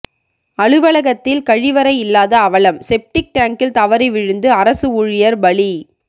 அலுவலகத்தில் கழிவறை இல்லாத அவலம் செப்டிங் டேங்கில் தவறி விழுந்து அரசு ஊழியர் பலி